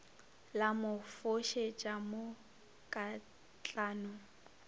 la mo fošetša mo katlano